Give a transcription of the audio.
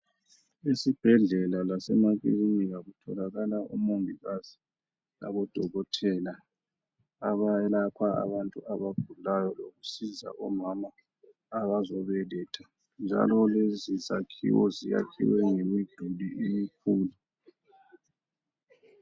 Esibhedlela lasemakilinika kutholakala omangikazi labodokothela abayelapha abantu abagulayo lokusiza omama abazobeletha. Njalo lezi zakhiwo ziyakhiwe ngemiduli emikhulu.